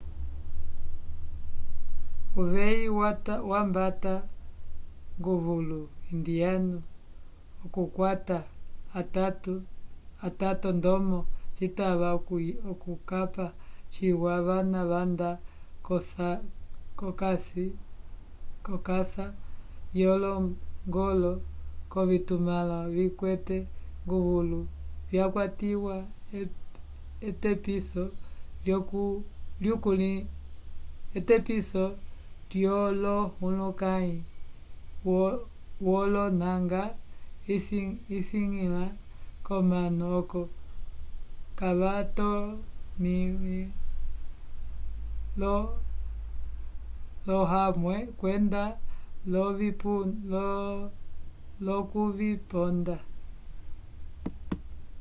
uveyi wambata nguvulu indiano okukwata atato ndomo citava okukapa ciwa vana vanda k'okasa yolongolo k'ovitumãlo vikwete nguvulu vyakwatiwa etepiso lyolohulukãyi wolonanga visiñgila omanu oco kavatomĩwe l'ohamwe kwenda l'okuviponda